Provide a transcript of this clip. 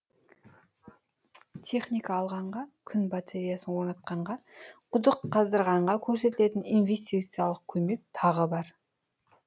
техника алғанға күн батареясын орнатқанға құдық қаздырғанға көрсетілетін инвестициялық көмек тағы бар